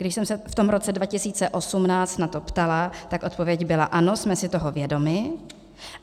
Když jsem se v tom roce 2018 na to ptala, tak odpověď byla ano, jsme si toho vědomi.